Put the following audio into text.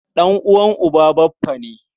Ɗan'uwan uba baffa ne.